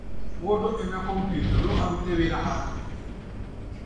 Mũndũ ena komputa no arutĩre wĩra handũ hothe